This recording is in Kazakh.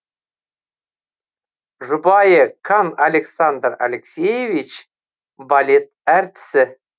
жұбайы кан александр алексеевич балет әртісі